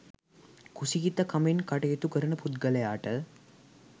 කුසීතකමෙන් කටයුතු කරන පුද්ගලයාට